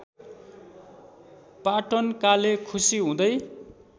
पाटनकाले खुसी हुँदै